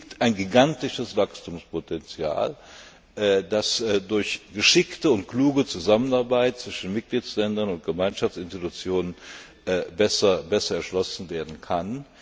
Hier liegt ein gigantisches Wachstumspotenzial, das durch geschickte und kluge Zusammenarbeit zwischen den Mitgliedstaaten und den Gemeinschaftsinstitutionen besser erschlossen werden kann.